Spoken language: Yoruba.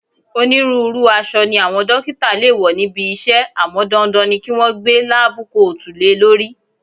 Onírúurú aṣọ ni àwọn dókítà le wo níbi iṣẹ́ àmọ́ dandan ni kí wọn gbé láábú koòtù le lórí